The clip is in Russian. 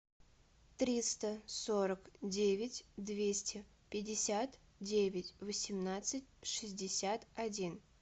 триста сорок девять двести пятьдесят девять восемнадцать шестьдесят один